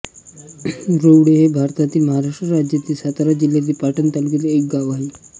रूवळे हे भारतातील महाराष्ट्र राज्यातील सातारा जिल्ह्यातील पाटण तालुक्यातील एक गाव आहे